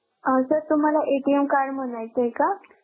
अं sir तुम्हाला card म्हणायचं आहे का?